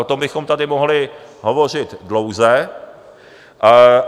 O tom bychom tady mohli hovořit dlouze.